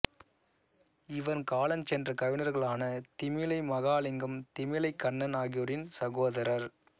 இவர் காலஞ்சென்ற கவிஞர்களான திமிலை மகாலிங்கம் திமிலைக் கண்ணன் ஆகியோரின் சகோதரர்